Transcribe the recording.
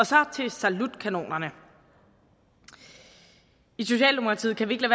så til salutkanonerne i socialdemokratiet kan vi ikke